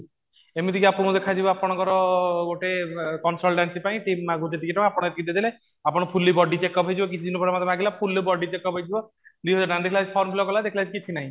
ଏମିତି ବି ଆପଣଙ୍କୁ ଦେଖା ଯିବ ଆପଣଙ୍କର ଗୋଟେ consultancy ପାଇଁ ମାଗୁଛି ଏତିକି ଟଙ୍କା ଆପଣ ଏତିକି ଦେଇଦେଲେ ଆପଣ fully body check up ହେଇଯିବ କିଛି ଦିନ ପରେ ମତେ ମାଗିଲା fully body check up ହେଇଯିବ form fill up କଲା ଦେଖିଲା ବେସିକି କିଛି ନାହିଁ